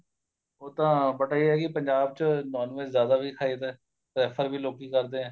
ਉੱਦਾਂ but ਇਹ ਏ ਕੀ ਪੰਜਾਬ ਚ NON VEG ਜਿਆਦਾ ਵੀ ਖਾਈ ਦੇ prefer ਵੀ ਲੋਕੀ ਕਰਦੇ ਏ